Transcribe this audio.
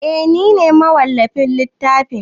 Eh nine mawallafin littafin